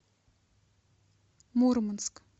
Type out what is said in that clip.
мурманск